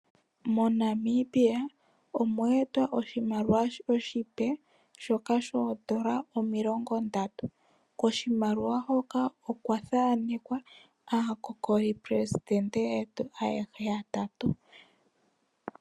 MoNamibia omweetwa oshimaliwa oshipe shoN$30. Koshimaliwa shoka okwathanekwa aakokolileli yetu aehe yatatu.